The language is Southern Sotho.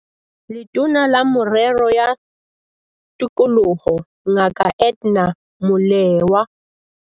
Letona la Merero ya Tikoloho Ngaka Edna Molewa